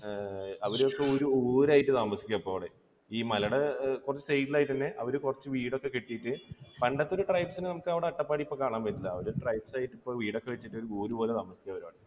അവിടെ അവരൊക്കെ ഒരു ഊര് ആയിട്ട് താമസിക്കുകയാണ്. ഇപ്പോൾ അവിടെ. ഈ മലയുടെ കുറച്ച് side ൽ ആയിട്ട് തന്നെ അവർ കുറച്ച് വീടൊക്കെ കെട്ടിയിട്ട്, പണ്ടത്തെ ഒരു tribes നെ നമുക്ക് അവിടെ അട്ടപ്പാടിയിൽ ഇപ്പോൾ കാണാൻ പറ്റില്ല. അവരെ tribes ഒക്കെ വീടൊക്കെ വച്ചിട്ട് ഒരു ഊരുപോലെ താമസിക്കുകയാണ് ഇപ്പോൾ